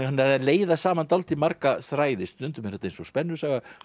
leiða saman dálítið marga þræði stundum er þetta eins og spennusaga